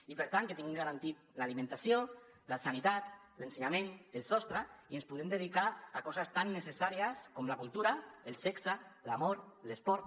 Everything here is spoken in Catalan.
i per tant que tinguin garantides l’alimentació la sanitat l’ensenyament el sostre i ens puguem dedicar a coses tan necessàries com la cultura el sexe l’amor l’esport